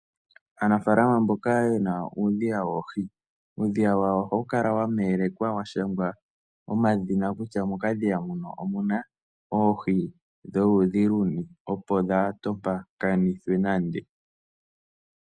Aanafaalama mboka yena uudhiya woohi, uudhiya wawo ohawu kala wa shangwa omadhina, kutya mokadhiya muno omuna oohi dholudhi luni, opo dhaa tompakanithwe nande.